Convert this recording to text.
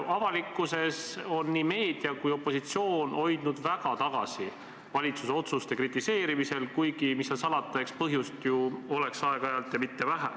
Avalikkuses on nii meedia kui opositsioon valitsuse otsuste kritiseerimisel end väga tagasi hoidnud, kuigi mis seal salata, eks põhjust ju oleks aeg-ajalt, ja mitte vähe.